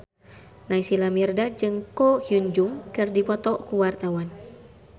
Naysila Mirdad jeung Ko Hyun Jung keur dipoto ku wartawan